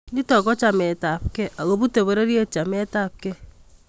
Nito ko chametabkei ako butei pororiet chametabkei